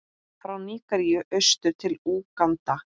frá Nígeríu austur til Úganda.